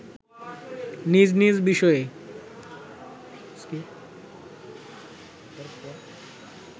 নিজ নিজ বিষয়ে